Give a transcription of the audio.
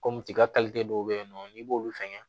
Kɔmi i ka dɔw bɛ yen nɔ n'i b'olu fɛngɛ